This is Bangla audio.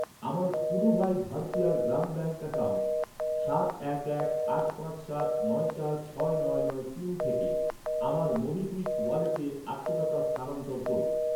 আমার পুডুভাই ভারথিয়ার গ্রাম ব্যাঙ্ক অ্যাকাউন্ট সাত এক এক আট পাঁচ সাত নয় চার ছয় নয় নয় তিন থেকে আমার মোবিকুইক ওয়ালেটে আটশো টাকা স্থানান্তর করুন।